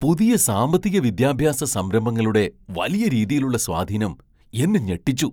പുതിയ സാമ്പത്തിക വിദ്യാഭ്യാസ സംരംഭങ്ങളുടെ വലിയ രീതിയിലുള്ള സ്വാധീനം എന്നെ ഞെട്ടിച്ചു.